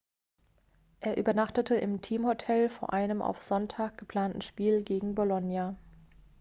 er übernachtete im teamhotel vor einem für sonntag geplanten spiel gegen bolonia